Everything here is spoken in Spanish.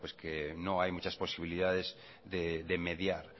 que no hay muchas posibilidades de mediar